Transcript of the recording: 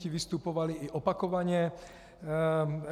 Ti vystupovali i opakovaně.